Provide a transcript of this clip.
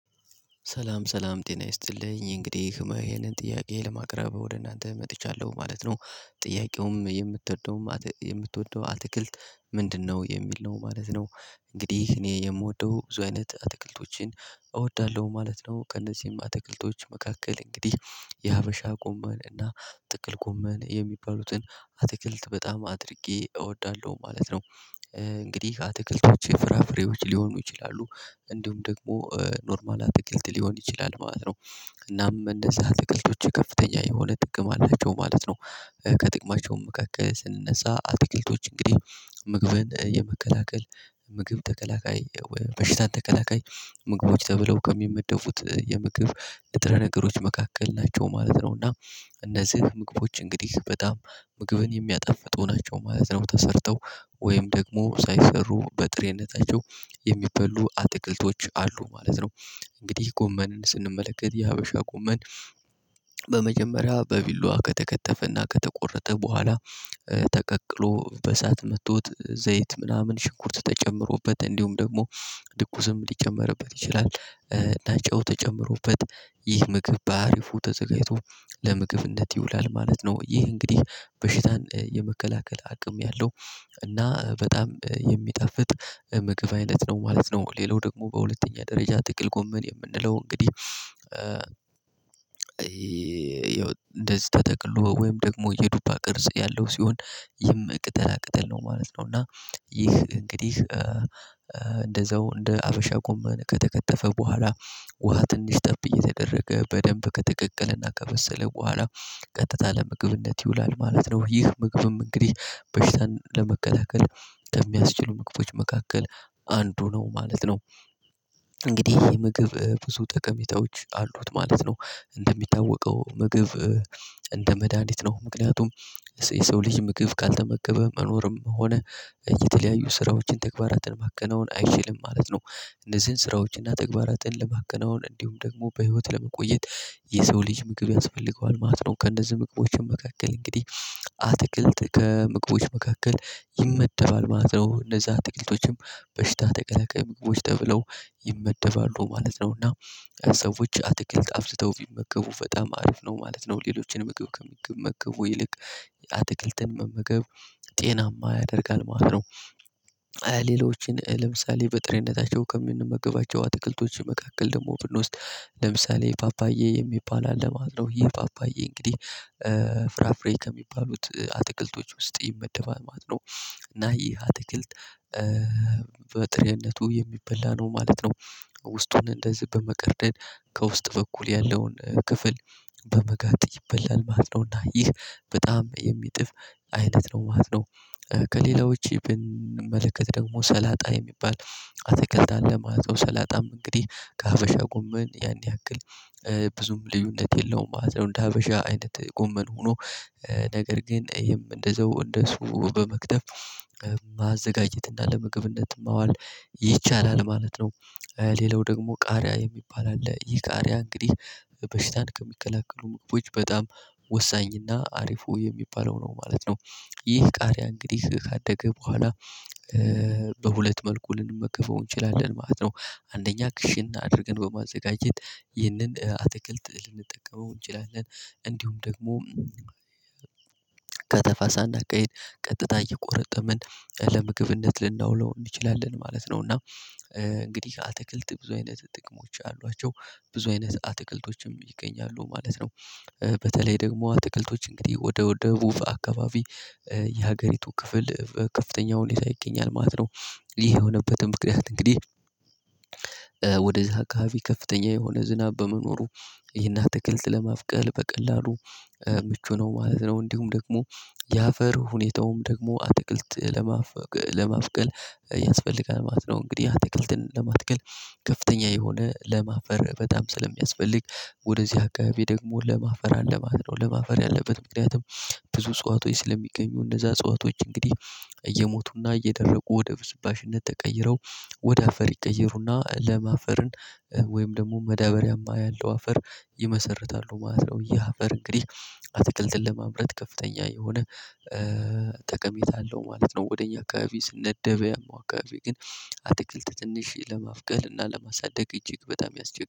ሰላም ሰላም ጤና ይስጥልኝ እንግዲህ ይሄንን ጥያቄ ለማቅረብ ወደ እናንተ መጥቻለሁ ማለት ነው። ጥያቄውም የምትወደውም የምትወደው አትክልት ምንድነው የሚል ነው ማለት ነው? እንግዲህ እኔ የምወደው ብዙ አይነት አትክልቶችን እወዳለሁ ማለት ነው። ቀን እነዚህም አትክልቶች መካከል እንግዲህ የሀበሻ ጎመን እና ጥቅል ጎመን የሚባሉትን አትክልት በጣም አድርጌ እወዳለሁ ማለት ነው። እንግዲህ አትክልቶች ፍራፍሬዎች ሊሆኑ ይችላሉ እንዲሁም ደግሞ ኖርማል አትክልት ሊሆን ይችላል ማለት ነው። እናም እንደዛ አትክልቶች ከፍተኛ የሆነ ጥቅም አላቸው ማለት ነው። ከጥቅማቸው መካከል ስንነሳ አትክልቶች እንግዲህ ምግብን የመከላከል ምግብ ተከላካይ በሽታን ተከላካይ ምግቦች ተብለው ከሚመደፉት የምግብ ንጥረ ነገሮች መካከል ናቸው ማለት ነው። እና እነዚህ ምግቦች እንግዲህ በጣም ምግብን የሚያጠፍጡ ናቸው ማለት ነው። ተሰርተው ወይም ደግሞ ሳይሰሩ በጥሬነታቸው የሚበሉ አትክልቶች አሉ ማለት ነው። እንግዲህ ጎመንን ስንመለከት የሀበሻ ጎመን በመጀመሪያ በቢለዋ ከተከተፈና ከተቆረጠ በኋላ። ተቀቅሎ በእሳት መቶት ዘይት ምናምን ሽንኩርት ተጨምሮበት እንዲሁም ደግሞ ድኩስም ሊጨመርበት ይችላል እና ጨው ተጨምሮበት ይህ ምግብ በአሪፉ ተዘጋጅቶ ለምግብ ነት ይውላል ማለት ነው። ይህ እንግዲህ በሽታን የመከላከል አቅም ያለው እና በጣም የሚጣፍጥ ምግብ አይነት ነው ማለት ነው። ሌላው ደግሞ በሁለተኛ ደረጃ ጥቅል ጎመን የምንለው እንግዲህ ይኸው እንደዚህ ተጠቅሎ ወይም ደግሞ የዱባ ቅርጽ ያለው ሲሆን ቅጠላ ቅጥል ነው ማለት ነው። እና ይህ እንግዲህ እንደዛው እንደ ሀበሻ ጎመን ከተከተፈ በኋላ ውሃ ትንሽ ጠብ እየተደረገ በደንብ ከተቀቀለና ከበሰለ በኋላ ቀጥታ ለምግብነት ይውላል ማለት ነው። ይህ ምግብም እንግዲህ በሽታን ለመከላከል ከሚያስችሉ ምግቦች መካከል አንዱ ነው ማለት ነው። እንግዲህ ይሄ ምግብ ብዙ ጠቀሜታዎች አሉት ማለት ነው እንደሚታወቀው ምግብ እንደ መድሃኒት ነው ምክንያቱም የሰው ልጅ ምግብ ካልተመገበ መኖርም ሆነ የተለያዩ ስራዎችን ተግባራትን ማከናወን አይችልም ማለት ነው። እነዚህን ስራዎችን እና ተግባራትን ለማከናወን እንዲሁም ደግሞ በህይወት ለመቆየት የሰው ልጅ ምግብ ያስፈልገዋል ማለት ነው። ከእነዚህ ምግቦች መካከል እንግዲህ አትክልት ከምግቦች መካከል ይመደባል ማለት ነው። እነዛ ጥቂቶችም በሽታ ተከላካይ ምግቦች ተብለው ይመደባሉ ማለት ነው። እና ሰዎች አትክልት አብዝተው ቢመገቡ በጣም አሪፍ ነው ማለት ነው። ሌሎችን ምገብ ከሚመገቡ ይልቅ የአትክልትን መመገብ ጤናማ ያደርጋል ማለት ነው። ሌሎችን ለምሳሌ በጥሬነታቸው ከምንመገባቸው አትክልቶች መካከል ደግሞ ብንወስድ ለምሳሌ ፓፓዬ የሚባል አለ ማለት ነው። ይህ ፓፓዬ እንግዲህ ፍራፍሬ ከሚባሉት አትክልቶች ውስጥ ይመደባል ማለት ነው። እና ይሄ አትክልት በጥሬነቱ የሚበላ ነው ማለት ነው። ውስጡን እንደዚህ በመቀርደድ ከውስጥ በኩል ያለውን ክፍል በመጋጥ ይበላል ማለት ነውና ይህ በጣም የሚጥም አይነት ነው ማለት ነው። ከሌላው ውጪ ብንመለከት ደግሞ ሰላጣ የሚባል አትክልት አለ ማለት ነው። ሰላጣም እንግዲህ ከሀበሻ ጎመን ያን ያክል ብዙም ልዩነት የለውም ማለት ነው። እንደ ሀበሻ አይነት ጎመን ሆኖ ነገር ግን ይሄም እንደዛው እንደሱ በመክተፍ ማዘጋጀትና ለምግብነት ማዋል ይቻላል ማለት ነው። ሌላው ደግሞ ቃሪያ የሚባል አለ ይህ ቃሪያ እንግዲህ በሽታን ከሚከላከሉ ምግቦች በጣም ወሳኝና አሪፉ የሚባለው ነው ማለት ነው። ይህ ቃሪያ እንግዲህ ካደገ በኋላ በሁለት መልኩ ልንመገበው እንችላለን ማለት ነው። አንደኛ ክሽን አድርገን በማዘጋጀት ይህንን አትክልት ልንጠቀመው እንችላለን እንዲሁም ደግሞ ከተፋሳ ቀጥታ እየቆረጠምን ለምግብነት ልናውለው እንችላለን ማለት ነው። እና እንግዲህ አትክልት ብዙ አይነት ጥቅሞች አሏቸው ብዙ አይነት አትክልቶችም ይገኛሉ ማለት ነው። በተለይ ደግሞ አትክልቶች እንግዲህ ወደ ወደ ቡፋ አካባቢ የሀገሪቱ ክፍል ከፍተኛው ሁኔታ ይገኛል ማለት ነው። ይህ የሆነበትም ምክንያት እንግዲህ ወደዛ አካባቢ ከፍተኛ የሆነ ዝናብ በመኖሩ ይህን አትክልት ለማብቀል በቀላሉ ምቹ ነው ማለት ነው። እንዲሁም ደግሞ የአፈር ሁኔታውም ደግሞ አትክልት ለማብቀል ያስፈልጋል ማለት ነው። እንግዲህ አትክልትን ለመትከል ከፍተኛ የሆነ ለም አፈር በጣም ስለሚያስፈልግ ወደዚህ አካባቢ ደግሞ ለም አፈር አለ ማለት ነው። ለም አፈር ያለበት ምክንያቱም ብዙ እጸዋቶች ስለሚገኙ እነዛ አጽዋቶች እንግዲህ እየሞቱና እየደረቁ ወደ ብስባሽነት ተቀይረው ወደ አፈር ይቀየሩና ለም አፈርን ወይም ደግሞ መዳበሪያማ ያለው አፈር ይመሰርታሉ ማለት ነው። የአፈር እንግዲህ አትክልትን ለማምረት ከፍተኛ የሆነ ጠቀሜታ አለው ማለት ነው። ወደ እኛ አካባቢ ስነደባያም አካባቢ ግን አትክልት ትንሽ ለማብቀል እና ለማሳደግ እጅግ በጣም ያስቸግራል